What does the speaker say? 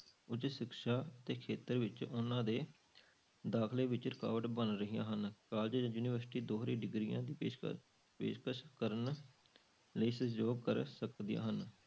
ਉੱਚ ਸਿੱਖਿਆ ਦੇ ਖੇਤਰ ਵਿੱਚ ਉਹਨਾਂ ਦੇ ਦਾਖਲੇ ਵਿੱਚ ਰੁਕਾਵਟ ਬਣ ਰਹੀਆਂ ਹਨ college ਜਾਂ ਯੂਨੀਵਰਸਟੀਆਂ ਦੋਹਰੀ degrees ਦੀ ਪੇਸ਼ਕਸ ਪੇਸ਼ਕਸ ਕਰਨ ਲਈ ਸਹਿਯੋਗ ਕਰ ਸਕਦੀਆਂ ਹਨ।